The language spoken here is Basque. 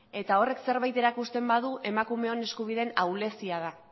eta horrek zerbait erakusten badu emakumeon eskubideen ahulezia da